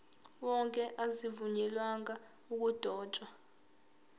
wonke azivunyelwanga ukudotshwa